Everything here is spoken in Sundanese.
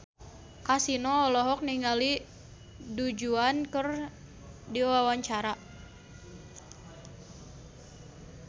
Kasino olohok ningali Du Juan keur diwawancara